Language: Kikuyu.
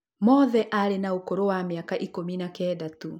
Mothe arĩ na ũkũrũ wa mĩaka ikũmi na kenda tu